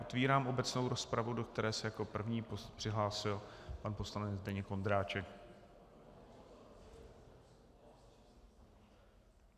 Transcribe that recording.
Otevírám obecnou rozpravu, do které se jako první přihlásil pan poslanec Zdeněk Ondráček.